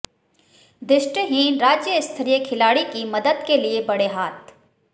दृष्टिहीन राज्यस्तरीय खिलाड़ी की मदद के लिए बढ़े हाथ